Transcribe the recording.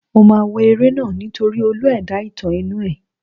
Mo máa wo eré náà nítorí olú ẹ̀dá-ìtàn inú ẹ̀.